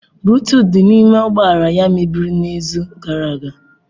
Buluutuut di n'ime ụgbọ ala ya mebiri n'izu gara aga.